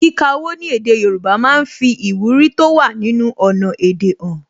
Kíka owó ní èdè Yorùbá máa ń fi ìwúrí tó wà nínú ọnà èdè han